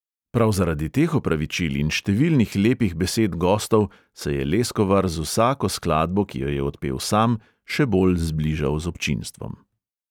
Prav zaradi teh opravičil in številnih lepih besed gostov se je leskovar z vsako skladbo, ki jo je odpel sam, še bolj zbližal z občinstvom.